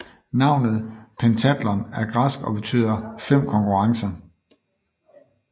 Navnet Pentathlon er græsk og betyder fem konkurrencer